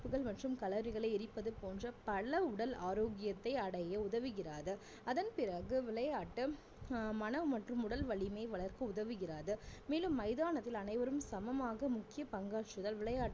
கொழுப்புகள் மற்றும் Calorie களை எரிப்பது போன்ற பல உடல் ஆரோக்கியத்தை அடைய உதவுகிறது அதன் பிறகு விளையாட்டு அஹ் மனம் மற்றும் உடல் வலிமை வளர்க்க உதவுகிறது மேலும் மைதானத்தில் அனைவரும் சமமாக முக்கிய பங்காற்றுதல் விளையாட்டுகள்